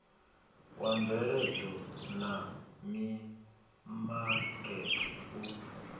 wa mveledzo na mimakete u